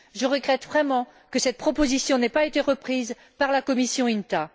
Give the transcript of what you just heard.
Je regrette vraiment que cette proposition n'ait pas été reprise par la commission INTA.